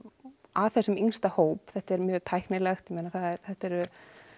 að þessum yngsta hóp þetta er mjög tæknilegt þetta er